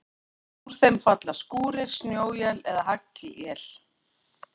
Úr þeim falla skúrir, snjóél eða haglél.